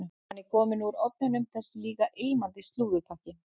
Hann er kominn úr ofninum, þessi líka ilmandi slúðurpakki.